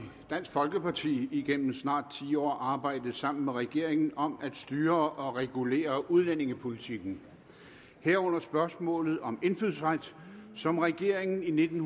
folkeparti igennem snart ti år arbejdet sammen med regeringen om at styre og regulere udlændingepolitikken herunder spørgsmålet om indfødsret som regeringen i nitten